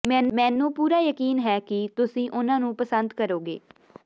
ਮੈਨੂੰ ਪੂਰਾ ਯਕੀਨ ਹੈ ਕਿ ਤੁਸੀਂ ਉਨ੍ਹਾਂ ਨੂੰ ਪਸੰਦ ਕਰੋਗੇ